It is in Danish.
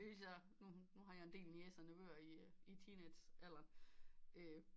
Især nu har jeg en del niecer og nevøer i teenagealderen